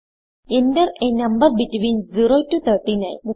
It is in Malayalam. Enter a number between of 0 to 39